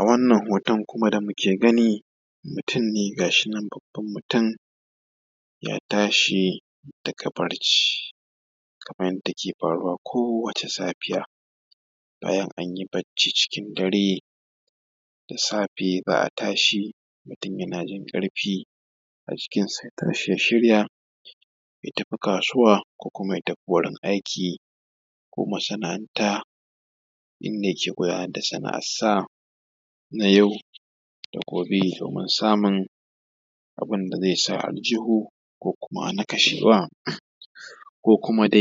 A wannan hoton kuma da muke gani, mutum ne ga shi nan babban mutum, ya tashi daga barci kamar yadda yake faruwa kowace safiya. Bayan an yi barci cikin dare, da safe za a tashi mutum yana jin ƙarfi a jikinsa ya shirya ya tafi kasuwa, ko wurin aiki ko masana’anta inda yake gudanar da sana’arsa na yau da gobe. Domin samun abin da zai sa a aljihu, ko kuma na kashewa, ko kuma da